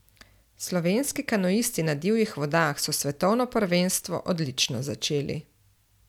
Slovenski kanuisti na divjih vodah so svetovno prvenstvo odlično začeli.